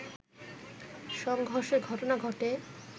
সংঘর্ষের ঘটনা ঘটে